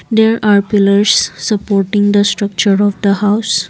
there are pillars supporting the structure of the house.